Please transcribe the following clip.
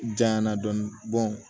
Janya na dɔɔnin